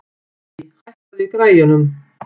Þurí, hækkaðu í græjunum.